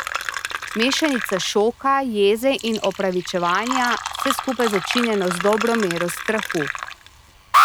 Mešanica šoka, jeze in opravičevanja, vse skupaj začinjeno z dobro mero strahu.